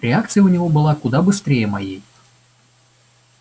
реакция у него была куда быстрее моей